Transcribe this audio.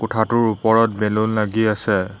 কোঠাটোৰ ওপৰত বেলুন লাগি আছে।